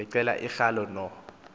ngeqela likaroyal no